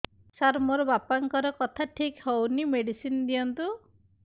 ସାର ମୋର ବାପାଙ୍କର କଥା ଠିକ ହଉନି ମେଡିସିନ ଦିଅନ୍ତୁ